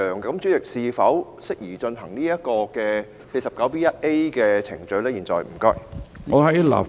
主席，現在是否適宜就這項議案進行第 49B 條的程序呢？